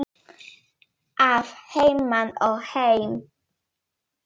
Að heiman og heim.